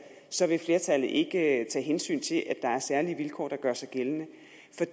så vil flertallet ikke tage hensyn til at der er særlige vilkår der gør sig gældende